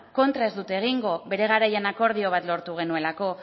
kontra ez dut egingo bere garaian akordio bat lortu genuelako